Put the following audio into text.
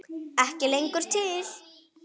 Ekki lengur til!